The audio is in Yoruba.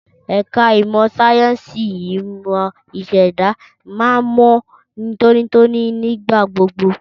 Ẹ̀ka ìmọ̀ sáyẹ́ǹsì ìmọ̀ ìṣẹ̀dá máa ń mọ́ tónítóní nígbà gbogbo.